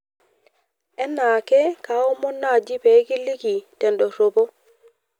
enaake kaaomon naaji peekiliki te endorropo